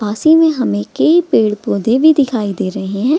पास ही में हमे ऐ पैर पौधे भी दिखाई दे रहे है |